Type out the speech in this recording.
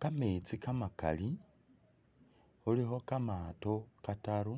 Kametsi kamakali khulikho kamato kataru